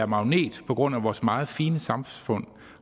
magnet på grund af vores meget fine samfund